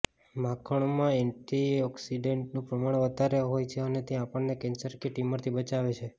માખણમાં એન્ટીઓક્સીડેંટનું પ્રમાણ વધારે હોય છે અને તે આપણને કેન્સર કે ટ્યૂમરથી બચાવે છે